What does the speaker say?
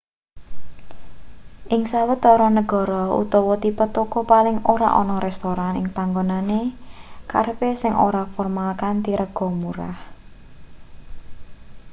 ing sawetara negara utawa tipe toko paling ora ana restoran ing panggonane kerepe sing ora formal kanthi rega murah